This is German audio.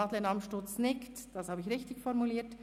Madeleine Amstutz nickt, das habe ich richtig formuliert.